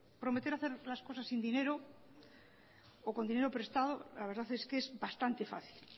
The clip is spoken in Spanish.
prometer hacer las cosas sin dinero o con dinero prestado la verdad es que es bastante fácil